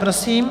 Prosím.